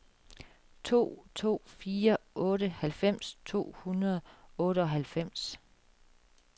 to to fire otte halvfems to hundrede og otteoghalvfems